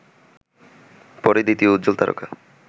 পরেই দ্বিতীয় উজ্জ্বল তারকা